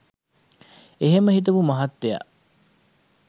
එහෙම හිතපු මහත්තය